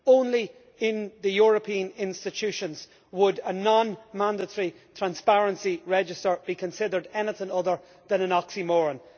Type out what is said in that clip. Only in the European institutions would a non mandatory transparency register be considered anything other than an oxymoron.